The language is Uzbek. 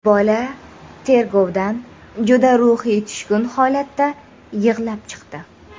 Bola tergovdan juda ruhiy tushkun holatda yig‘lab chiqdi.